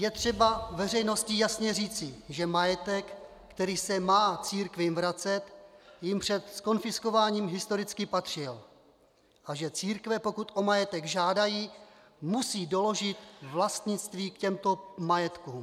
Je třeba veřejnosti jasně říci, že majetek, který se má církvím vracet, jim před zkonfiskováním historicky patřil a že církve, pokud o majetek žádají, musí doložit vlastnictví k těmto majetkům.